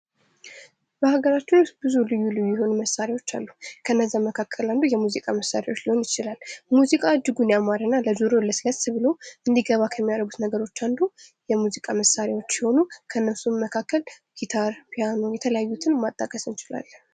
በሀገራችን ልዩ ልዩ የሆኑ መሳሪያዎች አሉ መካከል ውስጥ የሙዚቃ መሳሪያዎች ሊሆኑ ይችላሉ ።ሙዚቃ እጅጉን ያማረና ለጆሮ ለስለስ ብሎ እንዲገባ ከሚያደርጉት ነገሮች አንዱ የሙዚቃ መሳሪያዎች ሲሆኑ ከእነሱ መካከል ጊታር፣ ፒያኖ የተለያዩትን ማጣቀስ እንችላለን።